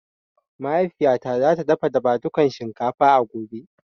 Mahaifiya ta za ta dafa dafadukan shinkafa a gobe